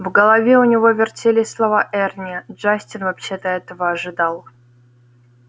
в голове у него вертелись слова эрни джастин вообще-то этого ожидал